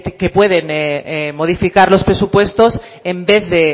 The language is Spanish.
que pueden modificar los presupuestos en vez de